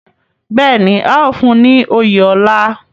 Bẹ́ẹ̀ ni, a óò fún un ní oyè ọlá